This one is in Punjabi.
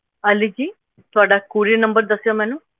ਅਲੀ ਜੀ ਤੁਹਾਡਾ Courier number ਦੱਸਿਓ ਮੈਨੂੰ।